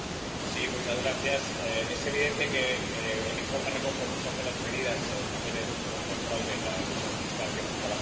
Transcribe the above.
Señor presidente, es evidente que el informe recoge muchas de las medidas en materia de lucha contra el fraude y la elusión fiscales que hemos trabajado en este Parlamento.